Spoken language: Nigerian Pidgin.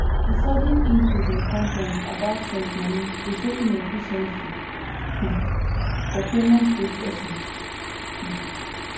di sudden increase in complaints about sent moni dey show inefficiency um for payment processing um